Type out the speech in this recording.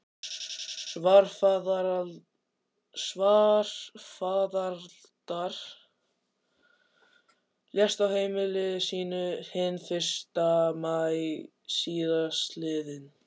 Svarfaðardal, lést á heimili sínu hinn fyrsta maí síðastliðinn.